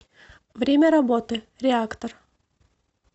время работы реактор